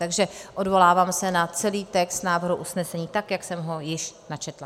Takže odvolávám se na celý text návrhu usnesení, tak jak jsem ho již načetla.